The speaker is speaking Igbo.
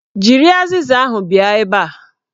Jiri azịza ahụ bịa ebe a!